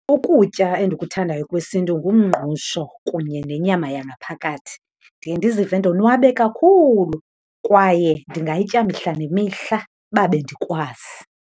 Ukutya endikuthandayo kwesintu ngumngqusho kunye nenyama yangaphakathi. Ndiye ndizive ndonwabe kakhulu, kwaye ndingayitya mihla nemihla uba bendikwazi.